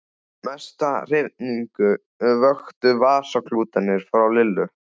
Mesta hrifningu vöktu vasaklútarnir frá Lillu.